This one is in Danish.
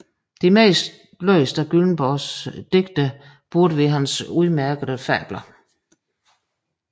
De mest læste af Gyllenborgs digte turde være hans udmærkede Fabler